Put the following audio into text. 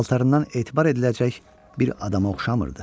Paltarından etibar ediləcək bir adama oxşamırdı.